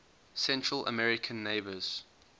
central american neighbors